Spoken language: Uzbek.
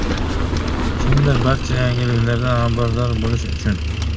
Kimdir barcha yangiliklardan xabardor bo‘lish uchun.